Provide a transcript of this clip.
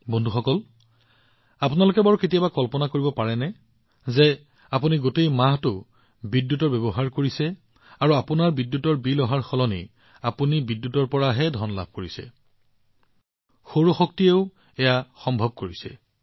বন্ধুসকল আপোনালোকে কেতিয়াবা কল্পনা কৰিব পাৰিবনে যে এমাহৰ বাবে বিদ্যুৎ ব্যৱহাৰ কৰি আপোনাৰ বিদ্যুতৰ বিল পৰিশোধ কৰাৰ সলনি আপুনি বিদ্যুতৰ বাবে ধন লাভ কৰিব পাৰে সৌৰ শক্তিয়েও সেইটো প্ৰদৰ্শন কৰিছে